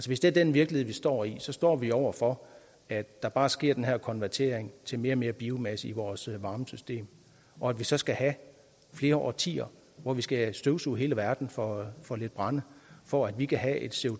hvis det er den virkelighed vi står i så står vi over for at der bare sker den her konvertering til mere og mere biomasse i vores varmesystem og at vi så skal have flere årtier hvor vi skal støvsuge hele verden for for lidt brænde for at vi kan have et